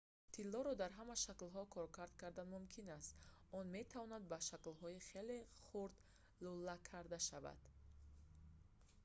тиллоро дар ҳама шаклҳо коркард кардан мумкин аст он метавонад ба шаклҳои хеле хурд лӯла карда шавад